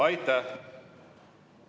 Aitäh!